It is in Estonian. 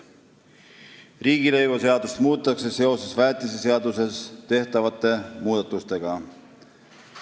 Riigilõivuseadust muudetakse väetiseseaduses tehtavate muudatuste tõttu.